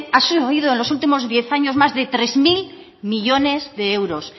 ha subido en los últimos diez años más de tres mil millónes de euros